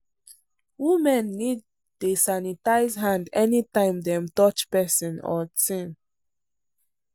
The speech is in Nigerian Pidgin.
women need dey sanitize hand anytime dem touch person or thing.